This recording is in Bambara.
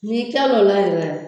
N'i kila o la yɛrɛ